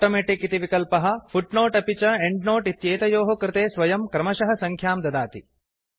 automatic इति विकल्पः footnote अपि च एंड्नोट् इत्येतयोः कृते स्वयं क्रमशः सङ्ख्यां ददाति